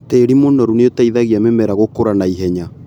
Tĩri mũnoru nĩũteithagia mĩmera gũkũra naihenya.